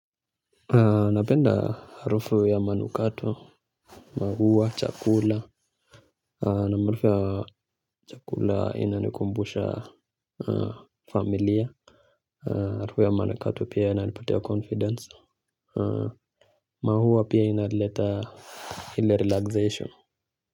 Napenda harufu ya manukato, maua, chakula na harufu ya chakula inanikumbusha familia. Harufu ya manukato pia inanipatia confidence, maua pia yanaleta ile relaxation.